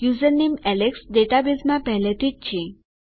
username Alex ડેટાબેઝમાં પહેલાથી છે